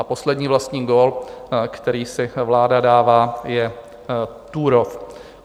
A poslední vlastní gól, který si vláda dává, je Turów.